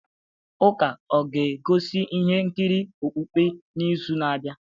Ụka ọ ga-egosi ihe nkiri okpukpe n'izu na-abịa?